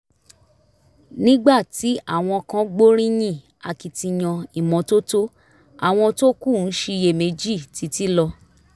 nígbà tí àwọn kan gbóríyìn akitiyan ìmọ́tótó àwọn tó kù ń ṣiyèméjì títí lọ